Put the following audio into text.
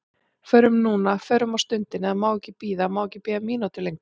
Förum núna, förum á stundinni, það má ekki bíða, það má ekki bíða mínútu lengur.